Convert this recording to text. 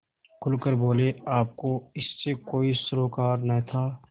खुल कर बोलेआपको इससे कोई सरोकार न था